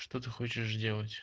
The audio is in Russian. что ты хочешь делать